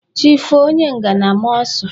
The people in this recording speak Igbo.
Chi foo onye ngana a maa ọ́sụ.